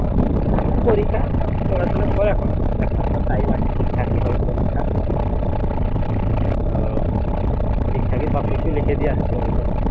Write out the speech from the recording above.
পরীক্ষা তো পড়াশুনা কর এখনো এক সপ্তাহ time আছে হবে পরীক্ষা ঠিকঠাকই সব কিছু লিখে দিয়ে আসতে হবে